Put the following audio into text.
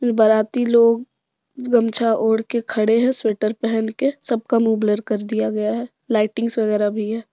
बाराती लोग गमछा ओढ़ के खड़े है स्वेटर पहन के सब का मुंह ब्लर कर दिया गया है लाइटिंग वगैरह भी है।